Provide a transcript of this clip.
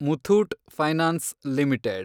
Muthoot finance limited